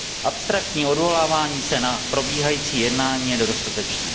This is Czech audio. Abstraktní odvolávání se na probíhající jednání je nedostatečné.